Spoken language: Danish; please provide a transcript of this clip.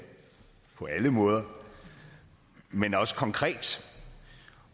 på alle måder men også konkret